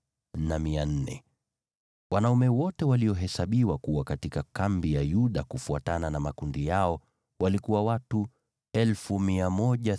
Wanaume wote walio katika kambi ya Yuda, kufuatana na makundi yao, ni 186,400. Wao watatangulia kuondoka.